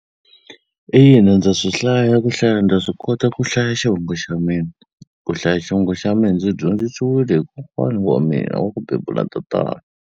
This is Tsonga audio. Ina ndza swi hlaya ku hlaya ndza swi kota ku hlaya xivongo xa mina, ku hlaya xivongo xa mina ndzi dyondzisiwile hi kokwana wa mina wa ku bebula tatana.